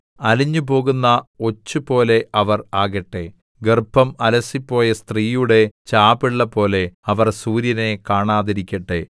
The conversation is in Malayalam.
അലിഞ്ഞു പോകുന്ന ഒച്ചു പോലെ അവർ ആകട്ടെ ഗർഭം അലസിപ്പോയ സ്ത്രീയുടെ ചാപിള്ളപോലെ അവർ സൂര്യനെ കാണാതിരിക്കട്ടെ